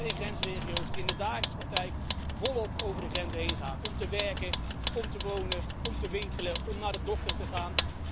Mensen in grensregio's die in de dagelijkse praktijk voortdurend over de grenzen heen gaan om te werken, om te wonen, om te winkelen, om naar de dokter te gaan.